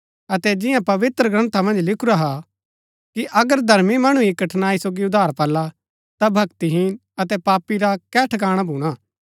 अतै जिन्या पवित्रग्रन्था मन्ज लिखुरा हा कि अगर धर्मी मणु ही कठनाई सोगी उद्धार पाला ता भक्तिहीन अतै पापी रा कै ठकाणा भूणा